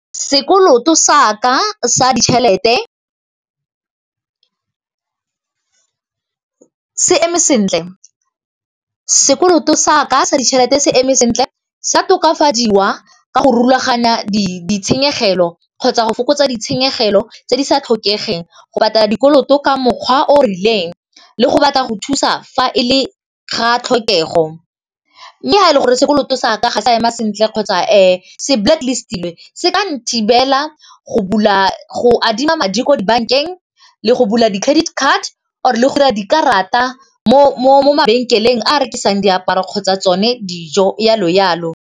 Sekoloto sa ka sa ditšhelete se eme sentle, sa tokafadiwa ka go rulaganya ditshenyegelo kgotsa go fokotsa ditshenyegelo tse di sa tlhokegeng go patela dikoloto ka mokgwa o rileng le go batla go thusa fa e le ga tlhokego. Mme ga e le gore sekoloto sa ka ga sa ema sentle kgotsa se blacklist-tilwe se ka nthibela go bula, go adima madi ko dibankeng le go bula di credit card or le go 'ira dikarata mo mabenkeleng a rekisang diaparo kgotsa tsone dijo jalo jalo.